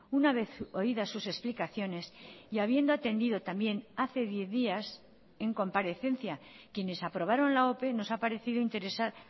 una vez oídas sus explicaciones y habiendo atendido también hace diez días en comparecencia quienes aprobaron la ope nos ha parecido interesar